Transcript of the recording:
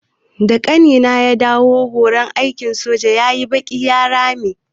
Da ƙanina ya dawo daga horon aikin soja yayi baƙi ya rame.